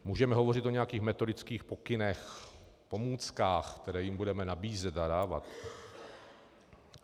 Můžeme hovořit o nějakých metodických pokynech, pomůckách, které jim budeme nabízet a dávat.